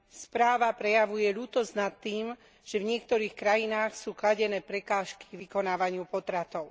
Správa prejavuje ľútosť nad tým, že v niektorých krajinách sú kladené prekážky vykonávaniu potratov.